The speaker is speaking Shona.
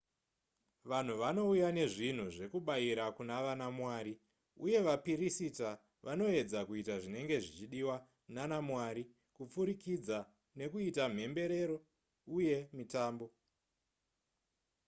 vanhu vanouya nezvinhu zvekubayira kuna vanamwari uye vapirisita vanoedza kuita zvinenge zvichidiwa nanamwari kupfurikidza nekuita mhemberero uye mitambo